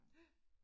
Ja